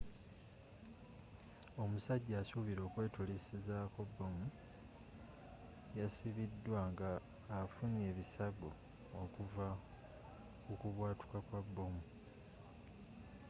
omusajja asubilwa okwetulisako bbomu yasibidwa nga affunye ebisago okuvva kukubwatuka kwa bbomu